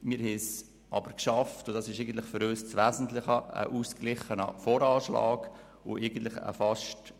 Grundsätzlich haben wir es geschafft, einen ausgeglichenen VA und einen fast ausgeglichenen AFP zu erreichen.